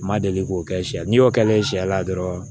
N ma deli k'o kɛ sɛ n'i y'o kɛ ne ye sɛ la dɔrɔn